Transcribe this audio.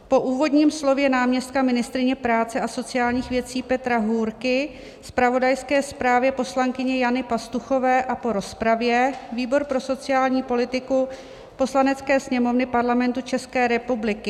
"Po úvodním slově náměstka ministryně práce a sociálních věcí Petra Hůrky, zpravodajské zprávě poslankyně Jany Pastuchové a po rozpravě výbor pro sociální politiku Poslanecké sněmovny Parlamentu České republiky